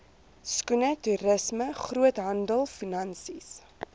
skoene toerisme groothandelfinansies